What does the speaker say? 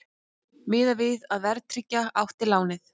Miðað við að verðtryggja átti lánið